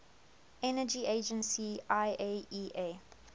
energy agency iaea